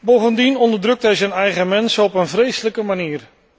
Bovendien onderdrukt hij zijn eigen mensen op een vreselijke manier.